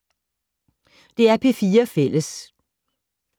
DR P4 Fælles